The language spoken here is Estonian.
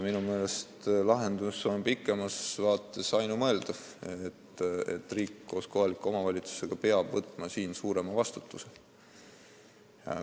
Minu meelest on ainumõeldav lahendus pikemas vaates see, et riik koos kohaliku omavalitsusega peab võtma siin suurema vastutuse.